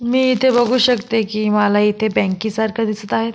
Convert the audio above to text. मी इथे बघू शकते की मला इथे बँकेसारख दिसत आहेत.